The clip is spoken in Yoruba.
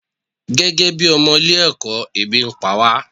As a pupils we are hungry